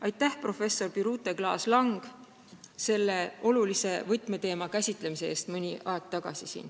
Aitäh, professor Birute Klaas-Lang, selle olulise võtmeteema käsitlemise eest siin!